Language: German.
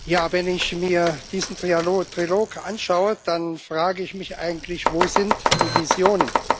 Ja, wenn ich mir diesen Trilog anschaue, dann frage ich mich eigentlich Wo sind die Visionen?